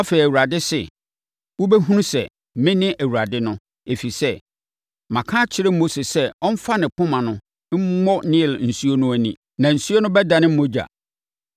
Afei, Awurade se: Wobɛhunu sɛ, mene Awurade no. Ɛfiri sɛ, maka akyerɛ Mose sɛ ɔmfa ne poma no mmɔ Nil nsuo no mu na nsuo no bɛdane mogya.